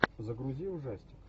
загрузи ужастик